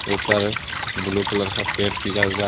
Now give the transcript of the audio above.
ऊपर blue colour का paint किया हुआ हे.